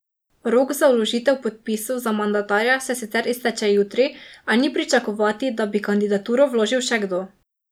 Rok za vložitev podpisov za mandatarja se sicer izteče jutri, a ni pričakovati, da bi kandidaturo vložil še kdo.